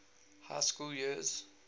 high school years